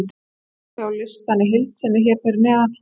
Hægt er að sjá listann í heild sinni hér fyrir neðan: